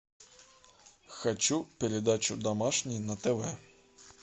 хочу передачу домашний на тв